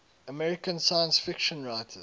american science fiction writers